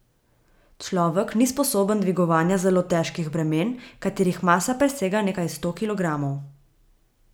Človek ni sposoben dvigovanja zelo težkih bremen, katerih masa presega nekaj sto kilogramov.